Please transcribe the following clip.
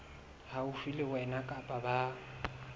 haufi le wena kapa ba